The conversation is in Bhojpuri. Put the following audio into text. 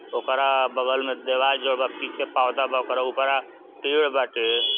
ओकरा बगल में देवाल जोडल बा। पीछे पौधा बा ओकर उपारा पेड़ बाटे।